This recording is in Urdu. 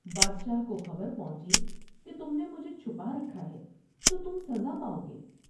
بادشاہ کوخبر پہونچی کہ تم نے مجھے چھپا رکھا ہے تو تم سزا پاؤ گے ۔